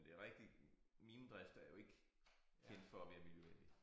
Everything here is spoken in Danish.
Men det rigtigt minedrift er jo ikke kendt for at være miljøvenlig